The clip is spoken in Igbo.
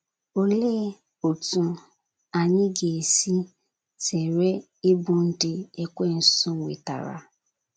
Olee otú anyị ga - esi zere ịbụ ndị Ekwensu nwetara?